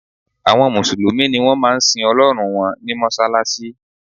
Àwọn mùsùlùmí ni wọ́n máa ń sin Ọlọ́run wọn ní mọ́ṣáláṣí